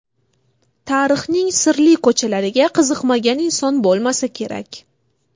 Tarixning sirli ko‘chalariga qiziqmagan inson bo‘lmasa kerak.